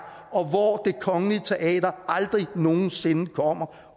og hvor det kongelige teater aldrig nogen sinde kommer